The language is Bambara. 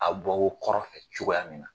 A bɛ bɔ wo kɔrɔ fɛ cogoya min na.